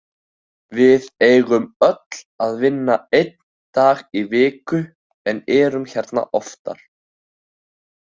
Við eigum öll að vinna einn dag í viku en erum hérna oftar.